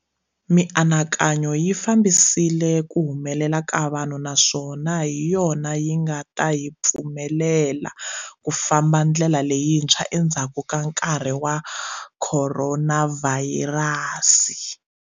Mianakanyo yi fambisile ku humelela ka vanhu naswona hi yona yinga ta hi pfumelela ku famba ndlela leyintshwa endzhaku ka nkarhi wa khoronavhayirasi.